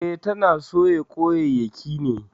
E, tana soya kwanyayyaki ne.